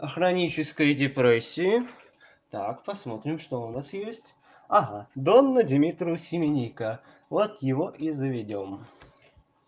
а хроническая депрессии так посмотрим что у нас есть ага донна димитру семенника вот его и завёдем